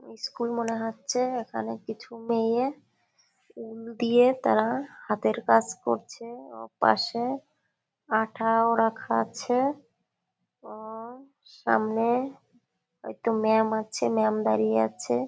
School মনে হচ্ছে। এখানে কিছু মেয়ে উল দিয়ে তারা হাতের কাজ করছে ও পাশে আঠাও রাখা আছে ও সামনে একটা ম্যাম আছে। ম্যাম দাঁড়িয়ে আছে।